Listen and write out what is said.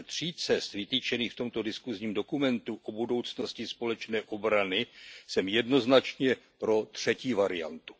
Ze tří cest, vytyčených v tomto diskusním dokumentu o budoucnosti společné obrany, jsem jednoznačně pro třetí variantu.